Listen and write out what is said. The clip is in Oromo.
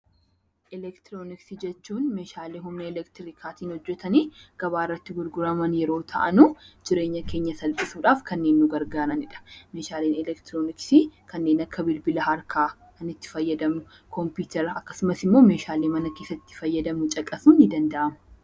Elektroniksii jechuun meeshaalee humna elektiriikaan hojjatanii gabaa irratti gurguraman yeroo ta'an jireenya keenya salphisuudhaaf kanneen nu gargaaranidha. Meeshaaleen elektroniksii kanneen akka bilbila harkaa itti fayyadamnu kompiitaraa fi meeshaalee mana keessatti fayyadamnu caqasuun ni danda'ama.